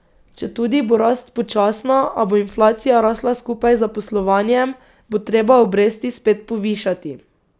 Četudi bo rast počasna, a bo inflacija rasla skupaj z zaposlovanjem, bo treba obresti spet povišati.